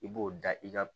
I b'o da i ka